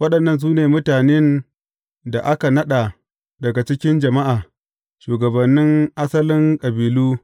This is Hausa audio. Waɗannan su ne mutanen da aka naɗa daga cikin jama’a, shugabannin asalin kabilu.